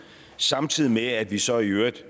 samtidig med at vi så i øvrigt